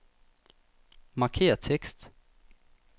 Markér tekst.